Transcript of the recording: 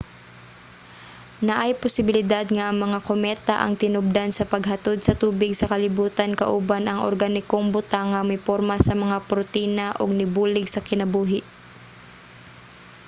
naay posibilidad nga ang mga kometa ang tinubdan sa paghatod sa tubig sa kalibutan kauban ang organikong butang nga miporma sa mga protina ug nibulig sa kinabuhi